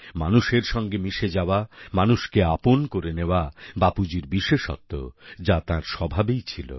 মানুষের সঙ্গে মিশে যাওয়া মানুষকে আপন করে নেওয়া বাপুজীর বিশেষত্ব যা তাঁর স্বভাবেই ছিল